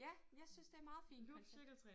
Ja jeg synes det er meget fint i hvert fald